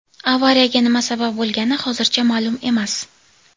Avariyaga nima sabab bo‘lgani hozircha ma’lum emas.